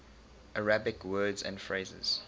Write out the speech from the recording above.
arabic words and phrases